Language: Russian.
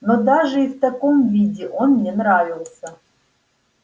но даже и в таком виде он мне нравился